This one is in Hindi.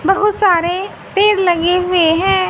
बहुत सारे पेड़ लगे हुए हैं।